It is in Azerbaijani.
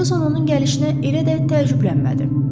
Ferquson onun gəlişinə elə də təəccüblənmədi.